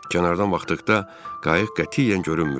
Kənardan baxdıqda qayıq qətiyyən görünmürdü.